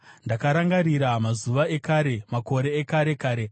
Ndakarangarira mazuva ekare, makore ekare kare;